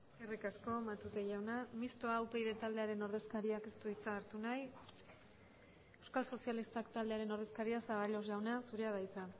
eskerrik asko matute jauna mistoa upyd taldearen ordezkariak ez du hitza hartu nahi euskal sozialistak taldearen ordezkaria zaballos jauna zurea da hitza